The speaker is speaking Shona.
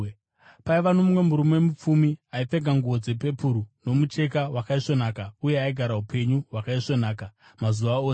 “Paiva nomumwe murume mupfumi aipfeka nguo dzepepuru nomucheka wakaisvonaka uye aigara upenyu hwakaisvonaka mazuva ose.